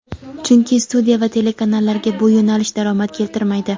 Chunki studiya va telekanallarga bu yo‘nalish daromad keltirmaydi.